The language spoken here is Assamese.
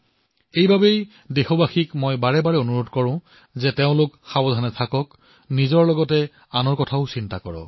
সেয়ে সকলো দেশবাসীলৈ মোৰ নিবেদন আৰু এই নিবেদন মই বাৰে বাৰে কৰিছো আৰু মোৰ নিবেদন এয়াই যে আপোনালোক অসাৱধান নহব নিজৰ যত্ন ৰাখক আৰু আনৰো যত্ন ৰাখক